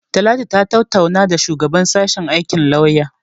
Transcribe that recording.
Talatu ta tattauna da shugaban sashen aikin lauya.